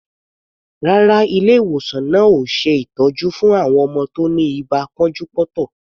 Rárá, ilé-ìwòsan náà ò ṣe ìtọ́jú fún àwọn ọmọ tí ó ní ibà pọ́njú-pọ́ntọ̀.